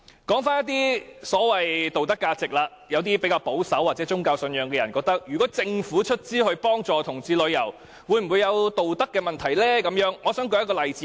說到所謂的道德價值，有些比較保守，或有宗教信仰的人會認為，政府出資贊助同志旅遊，會否有道德上的顧慮呢？